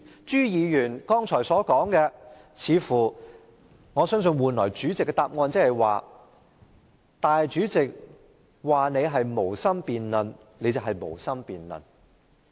朱議員，我相信主席給你的答覆的意思是：主席說你是無心辯論，你就是無心辯論。